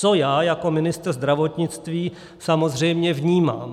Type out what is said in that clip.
Co já jako ministr zdravotnictví samozřejmě vnímám?